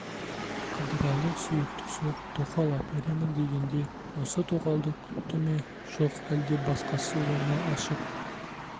қыдырәлі сүйіктісі тоқал әперемін дегенде осы тоқалды күтті ме жоқ әлде басқасы ма оны ашып